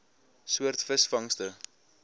soort visvangste